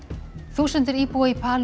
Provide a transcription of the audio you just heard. þúsundir íbúa í